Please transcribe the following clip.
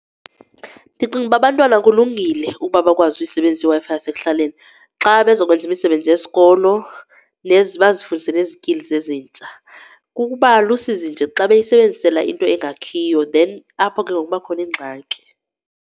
Ndicinga ukuba abantwana kulungile ukuba bakwazi uyisebenzisa iWi-Fi yasekuhlaleni xa bezokwenza imisebenzi yesikolo bazifundise ne-skill ezintsha. Kukuba lusizi nje xa beyisebenzisela into engakhiyo then apho ke ngoku kuba khona ingxaki.